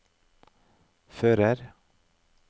fører